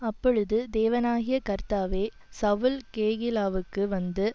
அப்பொழுது தேவனாகிய கர்த்தாவே சவுல் கேகிலாவுக்கு வந்து